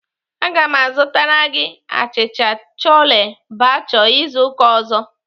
Aga m azụtara gị achịcha chole bhature izu ụka ọzọ.